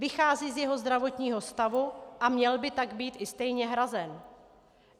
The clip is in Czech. Vychází z jeho zdravotního stavu a měl by tak být i stejně hrazen.